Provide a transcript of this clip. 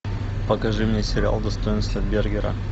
покажи мне сериал достоинство бергера